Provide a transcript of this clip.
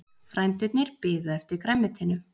Frændurnir biðu eftir grænmetinu.